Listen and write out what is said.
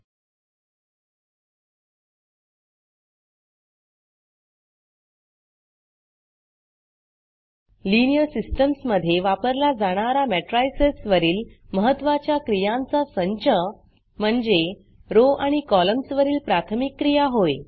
linear systemsलीनीयर systems मधे वापरला जाणारा matricesमेट्रिसस वरील महत्त्वाच्या क्रियांचा संच म्हणजे रो आणि कॉलम्सवरील प्राथमिक क्रिया होय